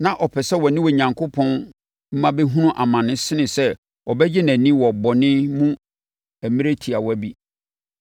Na ɔpɛ sɛ ɔne Onyankopɔn mma bɛhunu amane sene sɛ ɔbɛgye nʼani wɔ bɔne mu mmerɛ tiawa bi.